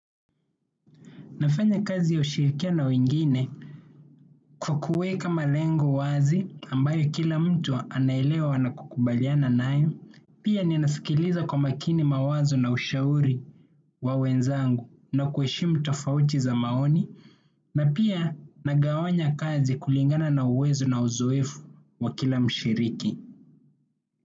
Nafanya kazi ya ushirikia na wengine kwa kuweka malengo wazi ambaye kila mtu anaelewa na kukubaliana nayo. Pia ninasikiliza kwa makini mawazo na ushauri wa wenzangu na kuheshimu tofauti za maoni. Na pia nagawanya kazi kulingana na uwezo na uzoefu wa kila mshiriki.